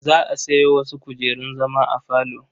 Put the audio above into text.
Za a sayo wasu kujerun zama a falo.